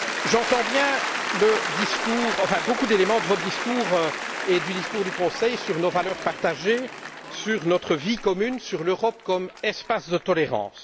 J'entends bien de nombreux éléments de votre discours et du discours du Conseil sur nos valeurs partagées, sur notre vie commune, sur l'Europe comme espace de tolérance.